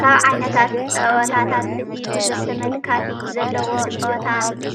ካብ ዓይነታት ፀወታት እቲ ብዙሕ ተመልካቲ ዘለዎ ፆወታ